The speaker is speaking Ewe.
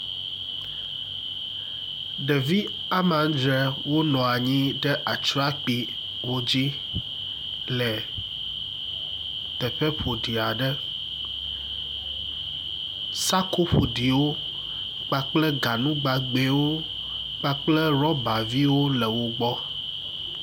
ɖevi amandre wonɔnyi ɖe atrakpi aɖe dzi le teƒe ƒoɖi aɖe sako ƒoɖiwo kpakple ganu gbãgbewo kpakple rɔba viwo le wógbɔ